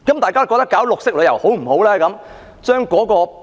大家認為推行綠色旅遊如何？